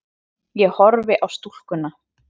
Ég horfi á stúlkuna.